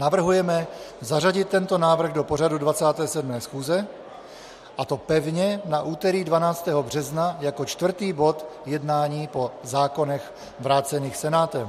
navrhujeme zařadit tento návrh do pořadu 27. schůze, a to pevně na úterý 12. března jako čtvrtý bod jednání po zákonech vrácených Senátem.